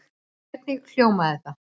Hvernig hljómaði það?